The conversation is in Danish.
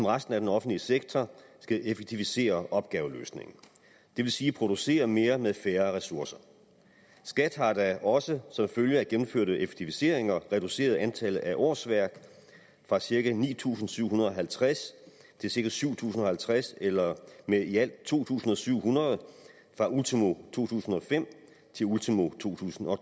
resten af den offentlige sektor skal effektivisere opgaveløsningen det vil sige producere mere med færre ressourcer skat har da også som følge af gennemførte effektiviseringer reduceret antallet af årsværk fra cirka ni tusind syv hundrede og halvtreds til cirka syv tusind og halvtreds eller med i alt to tusind syv hundrede fra ultimo to tusind og fem til ultimo to tusind og